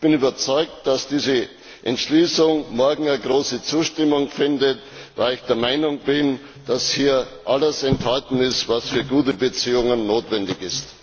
Ich bin überzeugt, dass diese Entschließung morgen große Zustimmung findet, weil ich der Meinung bin, dass hier alles enthalten ist, was für gute Beziehungen notwendig ist.